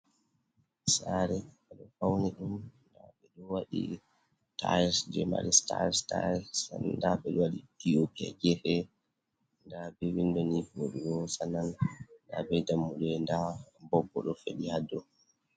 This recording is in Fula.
sare ado fauni dum wadi taires je maristars dabedo wadi ethiopia jehe dabe vindoni borgo sanan da be dammude da bobbo do fedi ha do